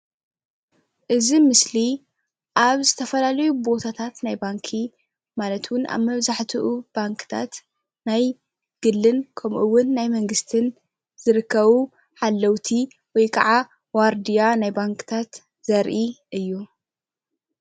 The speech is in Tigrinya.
እዚ ምስሊ ኣብ ዝተፈላለዩ ቦታታት ናይ ባንኪ ማለት እውን ኣብ መብዛሕትኡ ባንክታት ናይ ግልን ከምኡ እውን ናይ መንግስትን ዝርከቡ ሓለውቲ ወይ ከዓ ዋርድያ ናይ ባንክታት ዘርኢ እዩ፡፡